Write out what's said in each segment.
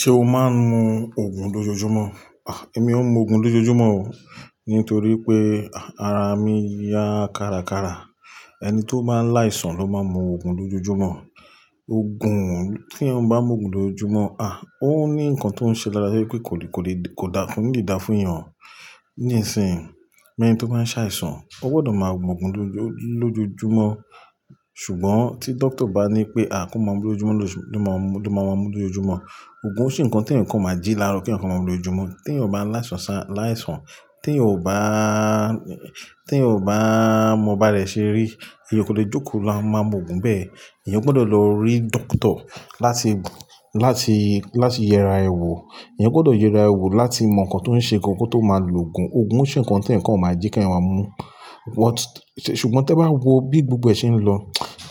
Ṣé o máa ń mu òògùn lójoojúmọ́? À, èmi ò ń mu òògùn lójoojúmọ́ o, nítorí pé ara mi yá kára kára. Ẹni tó bá ń láìsàn ló máa ń mu òògùn lójoojúmọ́. Òògùn tí èèyàn bá mú lójoojúmọ́, à, ó ní nǹkan tó ń ṣe lára ẹ pé kò le, kò le, kò dáa, kò lè dáa fún èèyàn. Nísìnyí, ẹni tó bá ń ṣàìsàn, ó gbọdọ̀ máa mu òògùn lójoojúmọ́. Ṣùgbọ́n tí dókítà bá ní pé, "À, kó máa mú lójoojúmọ́," lójoojúmọ́, lójoojúmọ́, lójoojúmọ́. Òògùn sì nǹkan tí nǹkan máa jí lára kí èèyàn kó máa mú lójoojúmọ́. Tí èèyàn bá láìsàn ṣá, láìsàn, tí èèyàn ò bá, tí èèyàn ò bá mọbi ara rẹ̀ ṣe rí, èèyàn kò lè jókòó ló máa ń mu òògùn bẹ́ẹ̀. Ẹ̀yàn gbọdọ̀ lọ rí dókítà láti, láti, láti yera èwò. Ẹ̀yàn gbọdọ̀ yera èwò láti mọ nǹkan tó ń ṣe gbogbo tó máa lòògùn. Òògùn sì nǹkan tí nǹkan ò máa jí kí èèyàn máa mú. But, ṣùgbọ́n tó bá wo bí gbogbo ẹṣin lọ,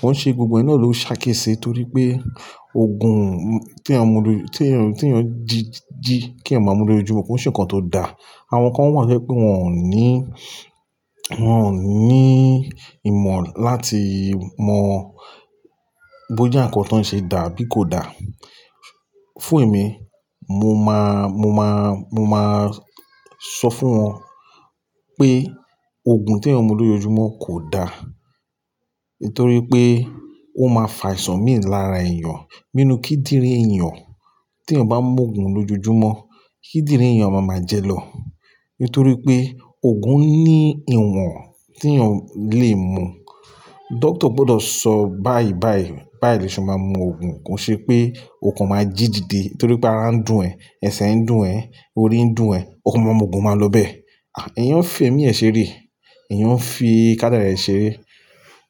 wọ́n ṣe gbogbo ẹnà ló ṣakíṣí tórí pé òògùn tí èèyàn mu ló, tí èèyàn, tí èèyàn jí, jí kí èèyàn máa mu lójoojúmọ́ ó ṣe nǹkan tó da. Àwọn kan wà ẹ pé wọ́n ò ní, wọ́n ò ní ìmọ̀ láti mọ bó ya nǹkan tó ń ṣe dà bí kò dà. Fún èmi, mo máa, mo máa, mo máa sọ fún wọn pé òògùn tí èèyàn mu lójoojúmọ́ kò da. Nítorí pé ó máa fà ìsàn mìíràn lára èèyàn. Ninú kíndìnrín èèyàn tí èèyàn bá ń mu òògùn lójoojúmọ́, kíndìnrín èèyàn máa ma jẹ lọ. Nítorí pé òògùn ní ìwọ̀n tí èèyàn lè mu. Dókítà gbọdọ̀ sọ báyìí, báyìí, báyìí ni ṣe máa mu òògùn. Kò ṣe pé nǹkan máa jí dìde nítorí pé ara ń dùn ẹ̀, ẹsẹ̀ ń dùn ẹ̀, orí ń dùn ẹ̀, òkú máa mu òògùn máa lọ bẹ́ẹ̀. Àì, ẹ̀yàn ń fi ẹ̀mí ẹ ṣe rí, ẹ̀yàn ń fi káda rẹ̀ ṣe rí.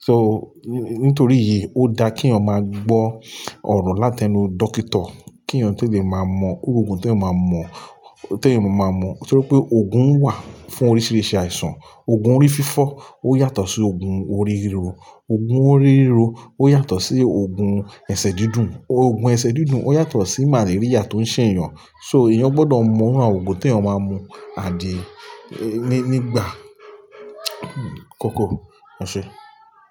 So, nítorí èyí ó dáa kí èèyàn máa gbọ ọ̀rọ̀ láti enú dókítà kí èèyàn lè máa mọ òògùn tí èèyàn máa mọ, tí èèyàn máa mọ. Nítorí pé òògùn wà fún oríṣìíríṣìí àìsàn. Òògùn orí fífọ́ ó yàtọ̀ sí òògùn orí iru. Òògùn orí iru ó yàtọ̀ sí òògùn ẹsẹ̀ dídùn. Òògùn ẹsẹ̀ dídùn ó yàtọ̀ sí màléríyà tó ń ṣe èèyàn. So, èèyàn gbọdọ̀ mọ àwọn òògùn tí èèyàn máa mu àdí nígbà kókó. Ọ̀ ṣe.